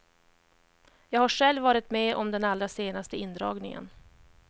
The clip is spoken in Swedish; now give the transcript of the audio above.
Jag har själv varit med om den allra senaste indragningen.